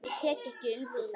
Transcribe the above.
Ég tek ekki undir það.